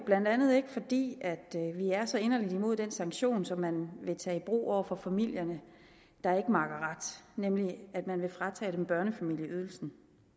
blandt andet ikke fordi vi er så inderlig imod den sanktion som man vil tage i brug over for familierne der ikke makker ret nemlig at man vil fratage dem børnefamilieydelsen